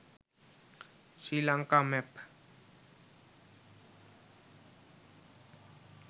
srilanka map